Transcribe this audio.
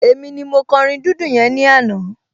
Èmi ni mo kọ orin dídùn yẹn ní àná